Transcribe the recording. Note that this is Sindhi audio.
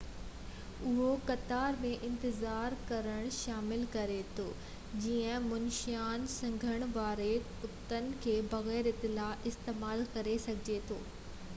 اهو قطار ۾ انتظار ڪرڻ شامل ڪري ٿو جيئن منشيان سنگهڻ وارن ڪتن کي بغير اطلاع استعمال ڪري سگهجي ٿو